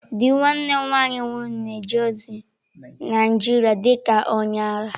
Di nwanne m nwanyị nwụrụ na-eje ozi Naịjirịa dị ka onye agha.